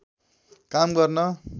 काम गर्न